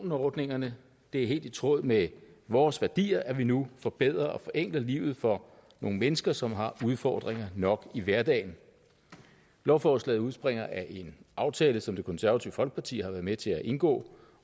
af ordningerne det er helt i tråd med vores værdier at vi nu forbedrer og forenkler livet for nogle mennesker som har udfordringer nok i hverdagen lovforslaget udspringer af en aftale som det konservative folkeparti har været med til at indgå